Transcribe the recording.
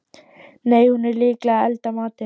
Nei, hún er líklega að elda matinn.